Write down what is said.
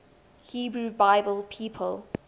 hebrew bible people